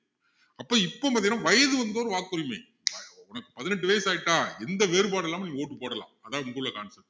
அப்போ இப்போ பாத்திங்கன்னா வயது வந்தோர் வாக்குரிமை உனக்கு பதினெட்டு வயசு ஆகிட்டா எந்த வேறுபாடும் இல்லாம நீ vote போடலாம் அதான் இங்க உள்ள concept